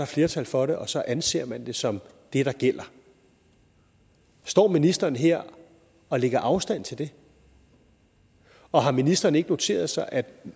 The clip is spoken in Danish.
flertal for det og så anser man det som det der gælder står ministeren her og lægger afstand til det og har ministeren ikke noteret sig at